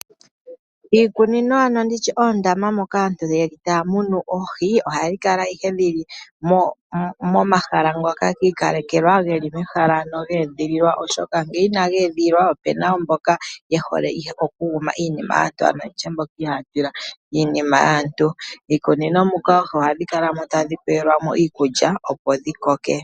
Iikunino ano ndi tye oondama moka aantu taya munu oohi, ohadhi kala ihe dhi li momahala ngoka gi ikalekelwa, ge li mehala lye edhilwa, oshoka ngele inali edhilwa opu na mboka ye hole okuguma iinima yaantu, ano mboka ihaya tila iinima yaantu. Miikunino muka oohi ohadhi kala mo tadhi pelwa mo iikulya, opo dhi koke.